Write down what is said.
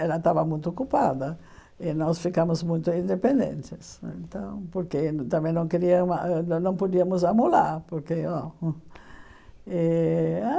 Ela estava muito ocupada e nós ficamos muito independentes né então, porque também não queria ah não podíamos porque ah hum eh ah.